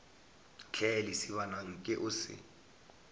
hle lesibana nke o se